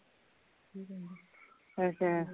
ਅੱਛਾ